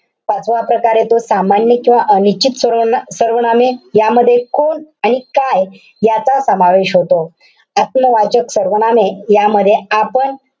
पाचवा प्रकार येतो, सामान्य किंवा अनिश्चित सर्व~ सर्वनामे. यामध्ये कोण आणि काय याचा समावेश होतो. आत्मवाचक सर्वनामे यामध्ये आपण,